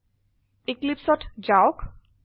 Eclipseঅত যাওক